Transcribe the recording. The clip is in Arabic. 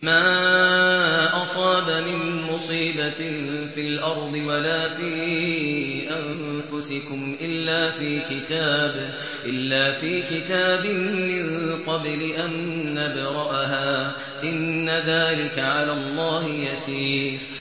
مَا أَصَابَ مِن مُّصِيبَةٍ فِي الْأَرْضِ وَلَا فِي أَنفُسِكُمْ إِلَّا فِي كِتَابٍ مِّن قَبْلِ أَن نَّبْرَأَهَا ۚ إِنَّ ذَٰلِكَ عَلَى اللَّهِ يَسِيرٌ